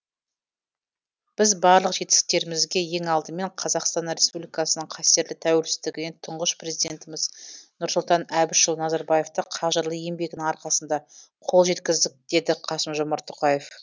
біз барлық жетістіктерімізге ең алдымен қазақстан республикасының қастерлі тәуелсіздігіне тұңғыш президентіміз нұрсұлтан әбішұлы назарбаевтың қажырлы еңбегінің арқасында қол жеткіздік деді қасым жомарт тоқаев